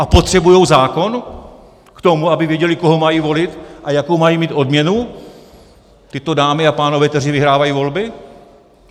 A potřebují zákon k tomu, aby věděli, koho mají volit a jakou mají mít odměnu, tyto dámy a pánové, kteří vyhrávají volby?